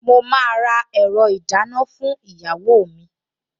Mo máa ra ẹ̀rọ ìdáná fún ìyàwó mi